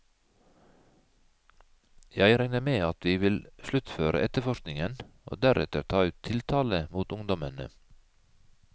Jeg regner med at vi vil sluttføre etterforskningen og deretter ta ut tiltale mot ungdommene.